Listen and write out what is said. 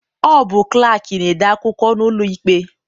Ọ bụ klaakị na-ede akwụkwọ n'ụlọikpe.